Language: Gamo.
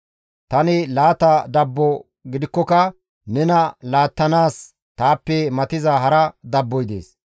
Tani laata dabbo gidikkoka nena laattanaas taappe matiza hara dabboy dees.